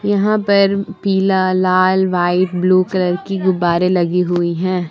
यहां पर पीला लाल वाइट ब्ल्यू कलर का गुब्बारे लगी हुई हैं।